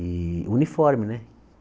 E uniforme, né?